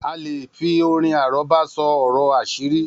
A leè fi orin àrọ́bá sọ ọ̀rọ̀ àṣírí